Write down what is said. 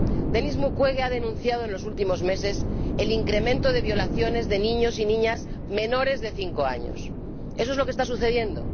Denis Mukwege ha denunciado en los últimos meses el incremento de violaciones de niños y niñas menores de cinco años eso es lo que está sucediendo.